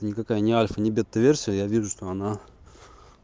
никакая ни альфа ни бета версия я вижу что она